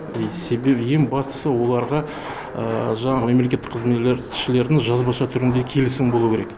себебі ең бастысы оларға жаңағы мемлекеттік жазбаша түрінде келісімі болуы керек